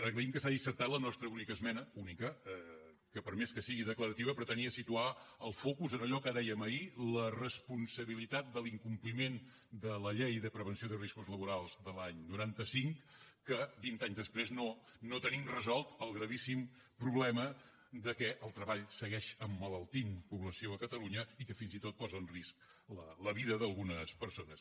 agraïm que s’hagi acceptat la nostra única esmena única que per més que sigui declarativa pretenia situar el focus en allò que dèiem ahir la responsabilitat de l’incompliment de la llei de prevenció de riscos laborals de l’any noranta cinc que vint anys després no tenim resolt el gravíssim problema que el treball segueix emmalaltint població a catalunya i que fins i tot posa en risc la vida d’algunes persones